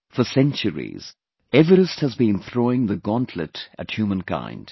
For centuries, Everest has been throwing the gauntlet at humankind